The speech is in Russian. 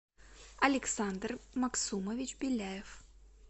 александр максумович беляев